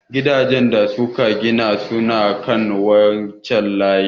Gidajan da suka gida suna kan wancan layin.